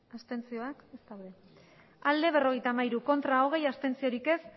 abstentzioa berrogeita hamairu bai hogei ez